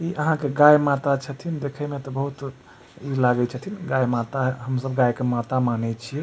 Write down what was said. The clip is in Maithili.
इ आहां के गाय माता छथीन देखे मे तो बहुत इ लागे छथीन गाय माता हेय हम सब गाय के माता माने छीये।